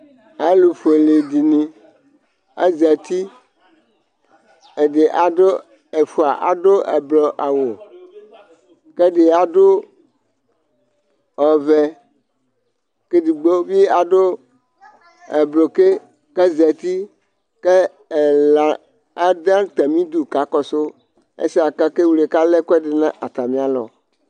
ɑlufuɛlɛ dini ɑzɑti ɛdi ɛdi ɑdu ɛfuɑ ɑduɛblo ɑwu kɛdi ɑdu ɔvɛ kɛdigbobi ɑdu ɛblokɛ kɑzɑti kɛlɑ ɑdu ɑtɑmidu kɑkɔsu ɛsɛkɑkɛwlɛ ƙɑlɛ kɑlɛkuɛdi nɑtɑmiɑ lɔ